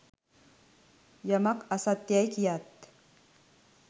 යමක් අසත්‍ය යැයි කියාත්